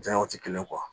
Janyaw tɛ kelen